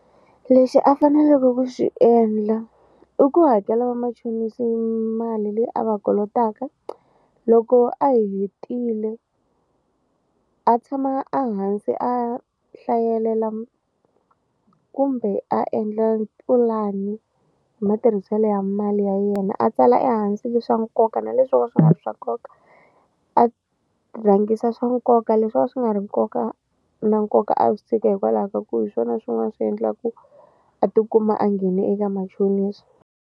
Lexi a faneleke ku xi endla i ku hakela vamachonisi mali leyi a va kolotaka loko a hetile a tshama a hansi a hlayelela kumbe a endla pulani hi matirhiselo ya mali ya yena a tsala ehansi le swa nkoka na leswo ka swi nga swa nkoka a rhangisa swa nkoka leswi a swi nga ri nkoka na nkoka a swi tshika hikwalaho ka ku hi swona swin'wana swi endlaku a tikuma a nghene eka machonisi.